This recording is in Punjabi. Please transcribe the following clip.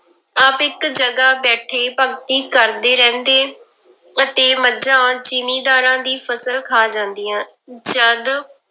ਆਪ ਇੱਕ ਜਗ੍ਹਾ ਬੈਠੇ ਭਗਤੀ ਕਰਦੇ ਰਹਿੰਦੇ, ਅਤੇ ਮੱਝਾ ਜ਼ਿੰਮੀਦਾਰਾਂ ਦੀ ਫਸਲ ਖਾ ਜਾਂਦੀਆਂ ਜਦ